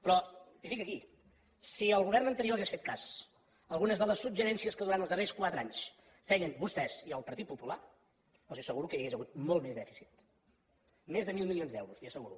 però li ho dic aquí si el govern anterior hagués fet cas d’alguns dels suggeriments que durant els darrers quatre anys feien vostès i el partit popular els asseguro que hi hagués hagut molt més dèficit més de mil milions d’euros li ho asseguro